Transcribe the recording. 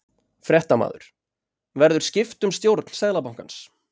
Fréttamaður: Verður skipt um stjórn Seðlabankans?